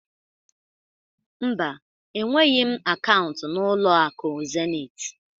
Mba, enweghị m akaụntụ na ụlọ akụ Zenit